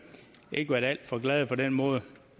ikke været alt for glade for den måde det